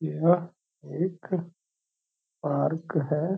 यह एक पार्क है।